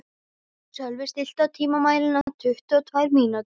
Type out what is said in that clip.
Sölvi, stilltu tímamælinn á tuttugu og tvær mínútur.